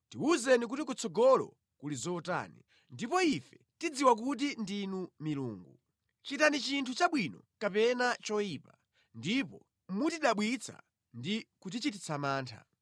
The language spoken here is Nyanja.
tiwuzeni kuti kutsogolo kuli zotani, ndipo ife tidziwa kuti ndinu milungu. Chitani chinthu chabwino kapena choyipa, ndipo mutidabwitsa ndi kutichititsa mantha.